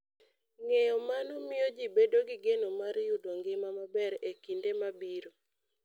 Ng'eyo mano miyo ji bedo gi geno mar yudo ngima maber e kinde mabiro.